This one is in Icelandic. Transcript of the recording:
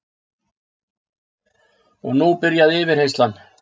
Og nú byrjaði yfirheyrslan